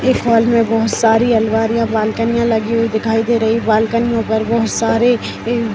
इस हॉल मे बहुत सारी अलमारियाँ बालकनीयां लगी हुई दिखाई दे रही है बालकनीयो पर बहुत सारे इव --